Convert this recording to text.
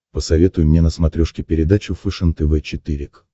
посоветуй мне на смотрешке передачу фэшен тв четыре к